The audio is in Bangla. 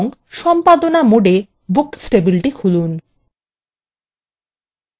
এবং সম্পাদনা mode books টেবিলটি খুলুন